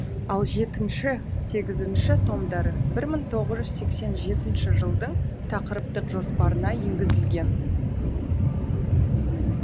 ал жетінші сегізінші томдары бір мың тоғыз жүз сексен жетінші жылдың тақырыптық жоспарына енгізілген